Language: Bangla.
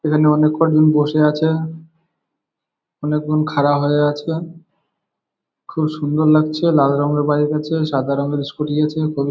এখানে অনেক কজন বসে আছে। অনেক জন খাড়া হয়ে আছে। খুব সুন্দর লাগছে। লাল রঙের বাইক আছে। সাদা রঙের স্কুটি আছে --